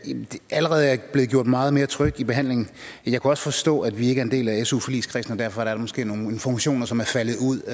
allerede blevet gjort meget mere tryg ved behandlingen jeg kunne også forstå at vi ikke er en del af su forligskredsen og derfor er der måske nogle informationer som er faldet ud